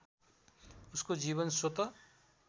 उसको जीवन स्वत